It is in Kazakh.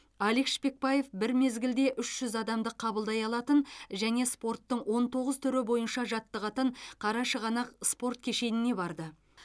алик шпекбаев бір мезгілде үш жүз адамды қабылдай алатын және спорттың он тоғыз түрі бойынша жаттығатын қарашығанақ спорт кешеніне барды